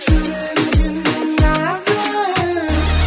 жүрегің сенің нәзік